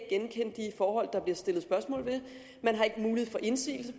og forhold der bliver stillet spørgsmål til man har ikke mulighed for indsigelse